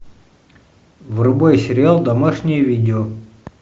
врубай сериал домашнее видео